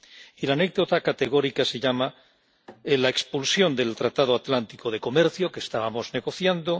Y la anécdota categórica se llama la expulsión del Tratado Atlántico de Comercio, que estábamos negociando